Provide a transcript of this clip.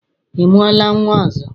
Ị mụọla nnwa ọzọ?